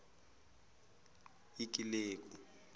ikileku